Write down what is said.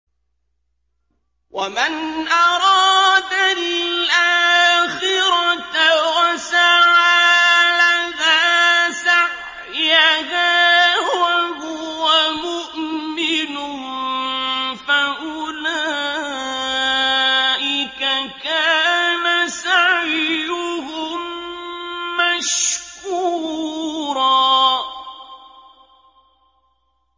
وَمَنْ أَرَادَ الْآخِرَةَ وَسَعَىٰ لَهَا سَعْيَهَا وَهُوَ مُؤْمِنٌ فَأُولَٰئِكَ كَانَ سَعْيُهُم مَّشْكُورًا